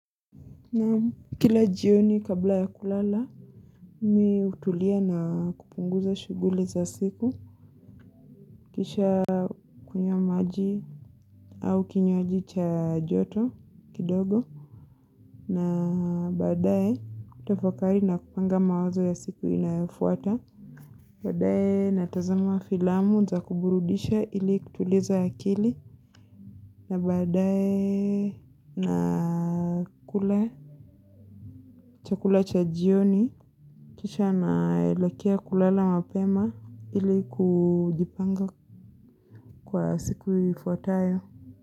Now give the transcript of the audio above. Naam kila jioni kabla ya kulala Mi utulia na kupunguza shuguli za siku. Kisha kunywa maji au kinywaji cha joto kidogo. Na baadae utafakari na kupanga mawazo ya siku inayofuata. Baadae natazama filamu za kuburudisha ili kutuliza a kili. Na baadae na kula cha kula cha jioni kisha naelekea kulala mapema ili kujipanga kwa siku ifuatayo.